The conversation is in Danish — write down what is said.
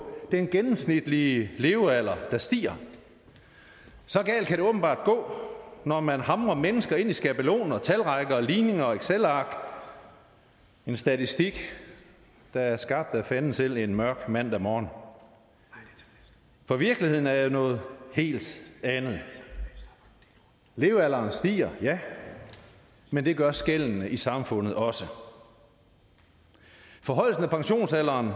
den gennemsnitlige levealder der stiger så galt kan det åbenbart gå når man hamrer mennesker ind i skabeloner talrækker ligninger og excelark en statistik der er skabt af fanden selv en mørk mandag morgen for virkeligheden er jo noget helt andet levealderen stiger ja men det gør skellene i samfundet også forhøjelsen af pensionsalderen